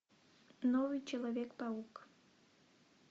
новый человек паук